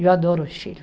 Eu adoro o Chile.